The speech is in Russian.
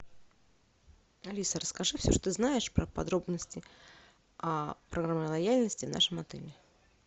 алиса расскажи все что знаешь про подробности программы лояльности в нашем отеле